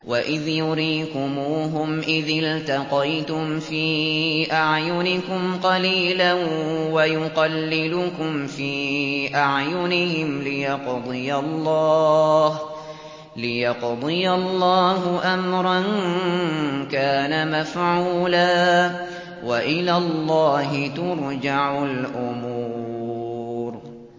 وَإِذْ يُرِيكُمُوهُمْ إِذِ الْتَقَيْتُمْ فِي أَعْيُنِكُمْ قَلِيلًا وَيُقَلِّلُكُمْ فِي أَعْيُنِهِمْ لِيَقْضِيَ اللَّهُ أَمْرًا كَانَ مَفْعُولًا ۗ وَإِلَى اللَّهِ تُرْجَعُ الْأُمُورُ